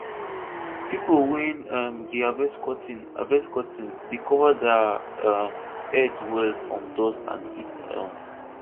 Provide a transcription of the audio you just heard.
pipo wey um dey harvest cotton harvest cotton dey cover their um head well from dust and heat um